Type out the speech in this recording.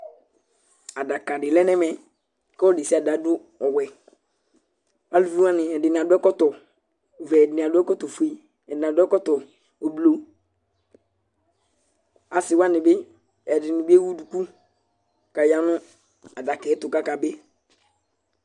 Adaka di lɛ nɛ mɛ k'ɔlu ɖesiaɖe adu ɔwɛAluvi wani ɛdi ni adu ɛkɔtɔ vɛ, ɛdi ni adu ɛkɔtɔ fue, ɛdini adu ɛkɔtɔ ubluAsi wani bi ɛdi ni bi ewu duku ka ya nu adaka yɛ tu ka ka bi